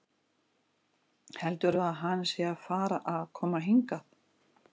Heldurðu að hann sé að fara að koma hingað?